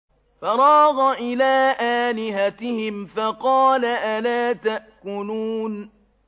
فَرَاغَ إِلَىٰ آلِهَتِهِمْ فَقَالَ أَلَا تَأْكُلُونَ